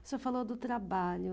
O senhor falou do trabalho.